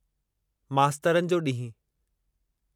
मास्तरनि जो ॾींहुं